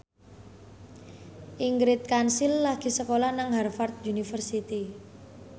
Ingrid Kansil lagi sekolah nang Harvard university